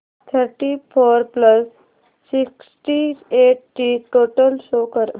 thirty four plus sixty eight ची total show कर